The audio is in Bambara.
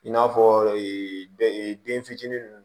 I n'a fɔ bɛ ee den fitinin nunnu